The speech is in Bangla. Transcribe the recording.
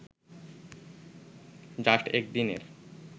জাস্ট এক দিনের